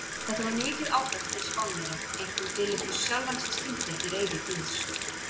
Þetta var mikið áfall fyrir Spánverja, einkum Filippus sjálfan sem skildi ekki reiði guðs.